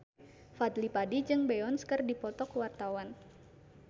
Fadly Padi jeung Beyonce keur dipoto ku wartawan